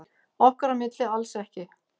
Okkar á milli alls ekki.